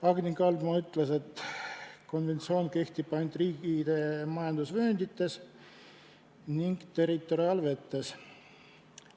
Agni Kaldma ütles, et konventsioon kehtib ainult riikide majandusvööndites ning territoriaalvetes.